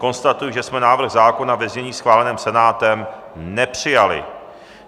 Konstatuji, že jsme návrh zákona ve znění schváleném Senátem nepřijali.